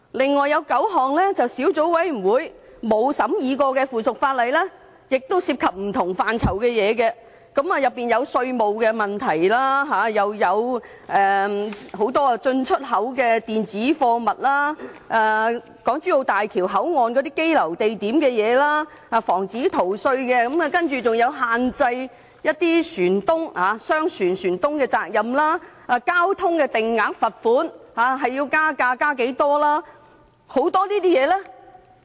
此外，有9項未經小組委員會審議的附屬法例涉及不同範疇的事宜，當中包括稅務問題、關於進出口的電子貨物資料、港珠澳大橋香港口岸的羈留地點事宜、防止逃稅，還有限制商船船東責任、交通定額罰款應加價多少的很多事項。